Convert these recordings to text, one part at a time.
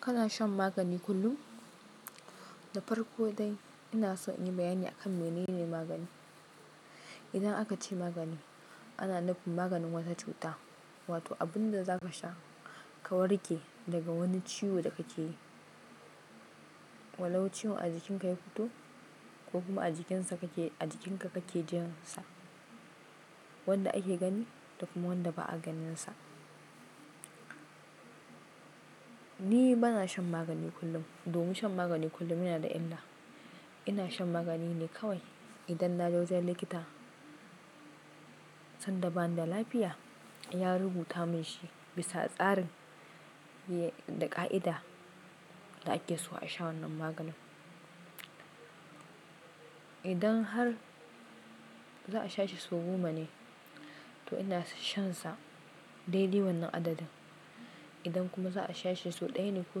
Kana shan magani kullum? Da farko dai ina so in yi bayani akan menene magani. Idan aka ce magani, ana nufin maganin wata cuta, wato abun da za ka sha ka warke daga wani ciwo da kake yi. Walau ciwon a jikinka ya fito ko kuma a jikinsa kake, a jikinka kake jin sa. Wanda ake gani da kuma wanda ba a ganinsa. Ni ba na shan magani kullum, domin shan magani kullum yana da illa. Ina shan magani ne kawai idan na je wajen likita sanda ba na da lafiya, ya rubuta mun shi bisa tsarin da ƙa'ida da ake so a sha wannan maganin. Idan har za a sha shi sau goma ne, to ina shansa dai-dai wannan adadin. Idan kuma za a sha shi sau ɗaya ne ko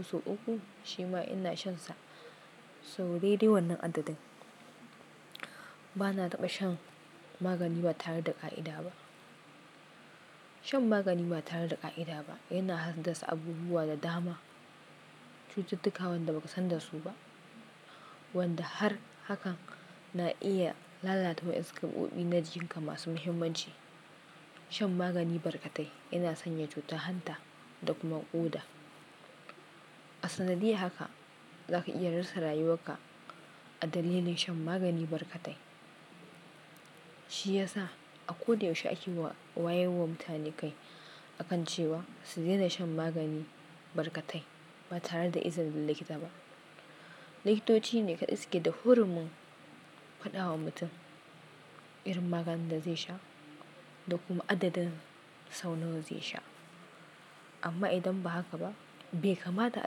sau uku, shi ma ina shansa sau dai-dai wannan adadin. Ba na taɓa shan magani ba tare da ƙa'ida ba. Shan magani ba tare da ƙa'ida ba yana hasasa abubuwa da dama. Cututtuka wanda ba ka san da su ba, wanda har hakan na iya lalata wa ƴansu kaɓoɓi na jikinka masu muhimmanci. Shan magani barkatai yana sanya cuta hanta da kuma ƙuda. A sanadiyya haka, za ka iya rasa rayuwarka a dalilin shan magani barkatai. Shi ya sa a ko da yaushe ake wayewa mutane kai akan cewa su daina shan magani barkatai ba tare da izinin likita ba. Likitoci ne kaɗai suke da hurumin faɗa wa mutum irin maganin da zai sha da kuma adadin sau nawa zai sha. Amma idan ba haka ba, bai kamata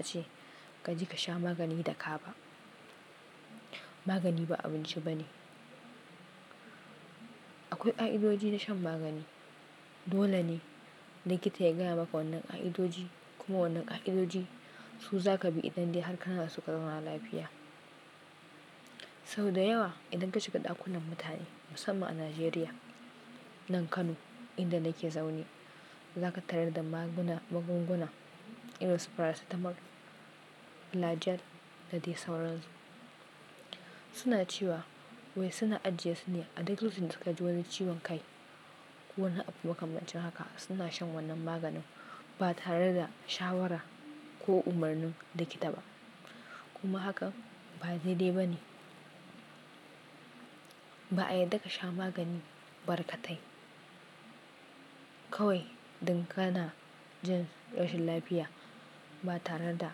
ace ka je ka sha magani da ka ba. Magani ba abinci ba ne. Akwai ƙa'idoji na shan magani. Dole ne likita ya gaya maka wannan ƙa'idoji kuma wannan ƙa'idoji su za ka bi idan dai har kana da suka na lafiya. Sau da yawa idan ka shiga ɗakunan mutane musamman a Najeriya, nan Kano inda nake zaune, za ka tarar da magunguna irin su paracetamol, flagyl da dai sauransu. Suna cewa wai suna ajiye su ne a duk lokacin dasuka ji wani ciwon kai ko wani abu makamancin haka suna shan wannan maganin ba tare da shawara ko umarni likita ba. Kuma haka ba dai dai ba ne. Ba'a yarda ka sha magani barkatai. Kawai dun kana jin rashin lafiya ba tare da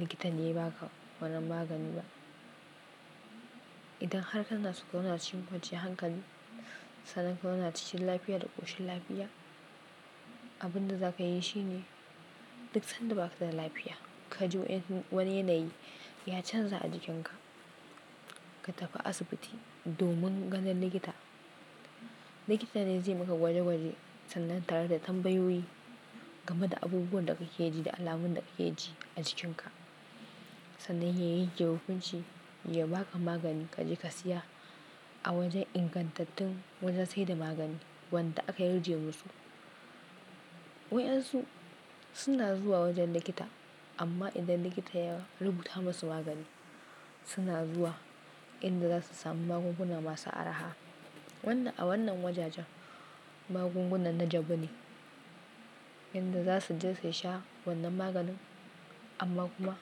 likita ne ya baka wannan magani ba. Idan har kana so kazau na cikin kwanciyan hankali, sanan kauna cikin lafiya da ƙoshin lafiya, abin da za ka yi shine duk sanda ba ka da lafiya ka ji wani yanayi ya canza a jikinka, ka tafi asibiti domin ganin likita. Likita ne zai maka gwaje-gwaje sannan tare da tambayoyi game da abubuwan da ka ji da alamun da ka ji a jikinka. Sannan ya yanke hukunci, ya ba ka magani ka je ka siya a wajen ingantattun wajen saida magani wanda aka yarda musu. Waɗansu suna zuwa wajen likita amma idan likita ya rubuta musu magani suna zuwa inda za su sami magunguna masu araha. A wannan wajajen magunguna na jabu ne inda za su je su sha wannan maganin amma kuma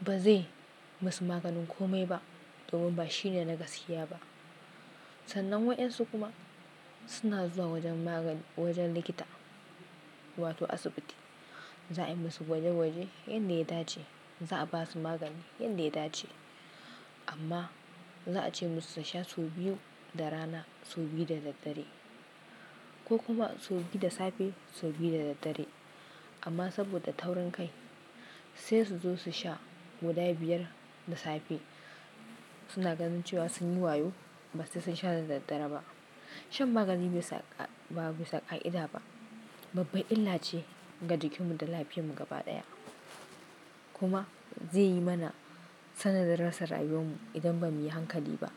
ba zai musu maganin kome ba domin ba shi ne na gasiya ba. Sannan waɗansu kuma suna zuwa wajen magani, wajen likita wato asibiti. Za a yi musu gwaje-gwaje yanda ya dace. Za a ba su magani yanda ya dace amma za a ce musu su sha sau biyu da rana, sau biyu da daddare ko kuma sau biyu da safe, sau biyu da daddare. Amma saboda taurin kai sai su zo su sha guda biyar da safe. Suna gani cewa sun yi wayo ba sai sun sha da daddare ba. Shan magani ba bisa ƙa'ida ba babba illa ce ga jikinmu da lafiyarmu gaba ɗaya. Kuma zai yi mana sanadin rasa rayuwarmu idan ba mu yi hankali ba.